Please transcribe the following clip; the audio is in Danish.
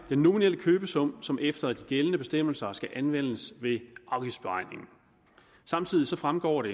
den nominelle købesum som efter de gældende bestemmelser skal anvendes ved afgiftsberegningen samtidig fremgår det